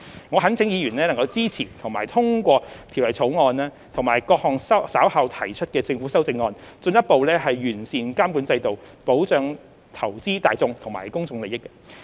我懇請議員支持及通過《條例草案》及各項稍後提出的政府修正案，進一步完善監管制度，保障投資大眾和公眾利益。